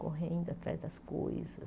Correndo atrás das coisas.